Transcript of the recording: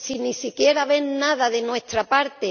Si ni siquiera ven nada de nuestra parte...